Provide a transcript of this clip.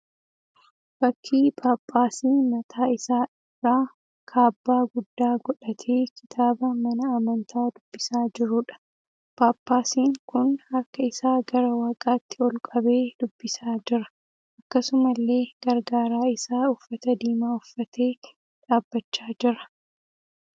Fakkii Ppaaphaasii mataa isaa irraa kaabbaa guddaa godhatee kitaaba mana amantaa dubbisaa jiruudha. Paappaasiin kun harka isaa gara waaqaatti ol qabee dubbisaa jira. Akkasumallee gargaaraa isaa uffata diimaa uffatee dhaabbachaa jira.